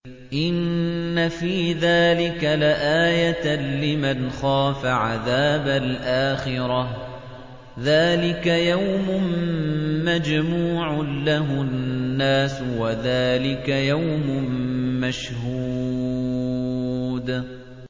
إِنَّ فِي ذَٰلِكَ لَآيَةً لِّمَنْ خَافَ عَذَابَ الْآخِرَةِ ۚ ذَٰلِكَ يَوْمٌ مَّجْمُوعٌ لَّهُ النَّاسُ وَذَٰلِكَ يَوْمٌ مَّشْهُودٌ